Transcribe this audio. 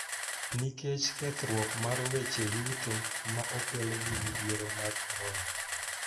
Nikech kethruok mar weche yuto ma okel gi midhiero mar Korona.